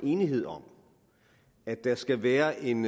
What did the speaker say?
enighed om at der skal være en